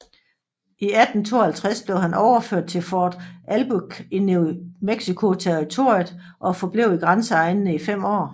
I 1852 blev han overført til Fort Albuquerque i New Mexico Territoriet og forblev i grænseegnene i fem år